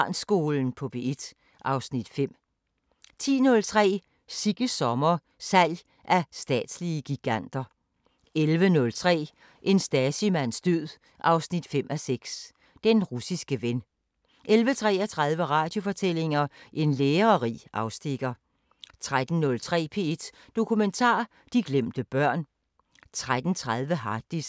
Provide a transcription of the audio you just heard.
20:03: Supertanker: Robotterne kommer, intelligensen er over os 21:03: Radiofortællinger: En lærerig afstikker 21:30: Harddisken: Hvad er dine data værd? * 00:05: Masterclasses – Peder Frederik Jensen: Autofiktion * 04:55: Danmark kort *